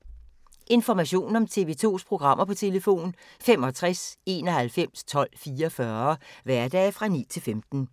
Information om TV 2's programmer: 65 91 12 44, hverdage 9-15.